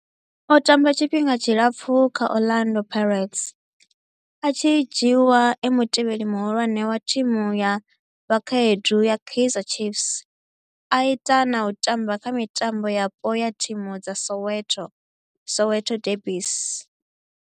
O tamba tshifhinga tshilapfhu kha Orlando Pirates, a tshi dzhiiwa e mutevheli muhulwane wa thimu ya vhakhaedu ya Kaizer Chiefs, a ita na u tamba kha mitambo yapo ya thimu dza Soweto, Soweto derbies.